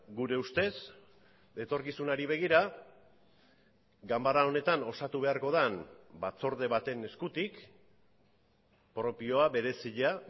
gure ustez etorkizunari begira ganbara honetan osatu beharko den batzorde baten eskutik propioa berezia